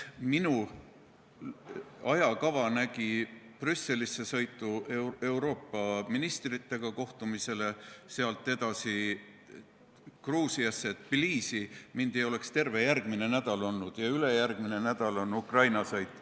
Minu ajakava nägi ette sõitu Brüsselisse Euroopa ministritega kohtumisele, sealt edasi Gruusiasse Thbilisisse, mind ei oleks terve järgmine nädal siin olnud, ja ülejärgmine nädal on Ukraina-sõit.